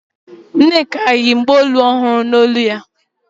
Nneka yi chenu olu ọhụrụ.